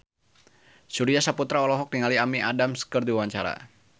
Surya Saputra olohok ningali Amy Adams keur diwawancara